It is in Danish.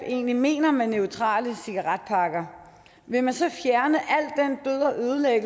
egentlig mener med neutrale cigaretpakker vil man så fjerne